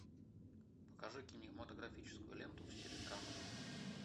покажи кинематографическую ленту в стиле драмы